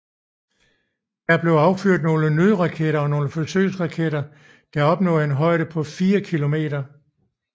Der blev affyret nogle nødraketter og nogle forsøgsraketter der opnåede en højde af 4 kilometer